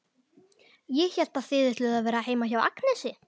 Ég hélt að þið ætluðuð að vera heima hjá Agnesi.